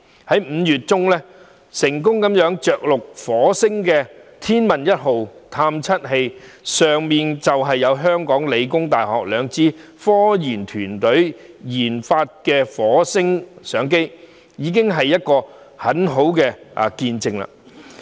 在5月中成功着陸火星的天問一號探測器，當中有香港理工大學兩支科研團隊研發的火星相機，這是一個很好的見證。